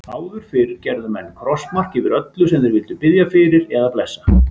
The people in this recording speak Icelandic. Áður fyrr gerðu menn krossmark yfir öllu sem þeir vildu biðja fyrir eða blessa.